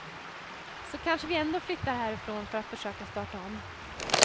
Så kanske vi ändå flyttar härifrån för att försöka starta om.